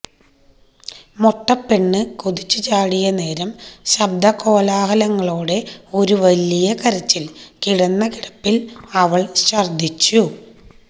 മൊട്ടപ്പെണ്ണ് കുതിച്ചു ചാടിയ നേരം ശബ്ദകോലാഹലങ്ങളോടെ ഒരു വലിയ കരച്ചിൽ കിടന്ന കിടപ്പിൽ അവൾ ഛർദിച്ചു